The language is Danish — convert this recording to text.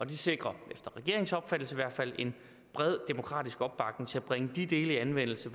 det sikrer efter regeringens opfattelse i hvert fald en bred demokratisk opbakning til at bringe de dele i anvendelse